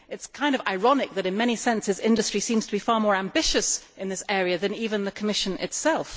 It is rather ironic that in many senses industry seems to be far more ambitious in this area than even the Commission itself.